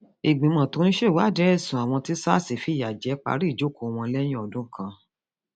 ìgbìmọ tó ń ṣèwádìí ẹsùn àwọn tí sars fìyà jẹ parí ìjókòó wọn lẹyìn ọdún kan